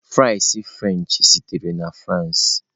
Fries frenchị sitere na France.